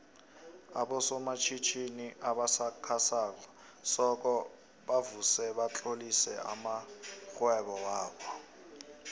aboso matjhitjhini obasakha soko kufuze batlolise amoihwebo wobo